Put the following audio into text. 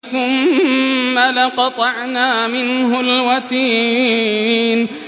ثُمَّ لَقَطَعْنَا مِنْهُ الْوَتِينَ